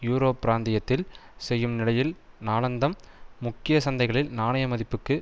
euro பிராந்தியத்தில் செய்யும் நிலையில் நாளாந்தம் முக்கிய சந்தைகளில் நாணய மதிப்புக்கு